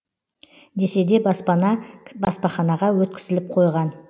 десе де баспана баспаханаға өткізіліп қойған